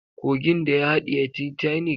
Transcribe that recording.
Kogin da ya haɗiye titanic.